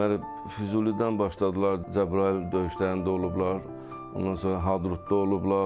Deməli Füzulidən başladılar Cəbrayıl döyüşlərində olublar, ondan sonra Hadrutda olublar.